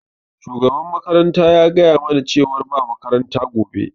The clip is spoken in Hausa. Shugaban makaranta ya gaya mana cewar ba makaranta gobe.